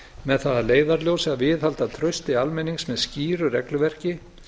með það að leiðarljósi að viðhalda trausti almennings með skýru regluverki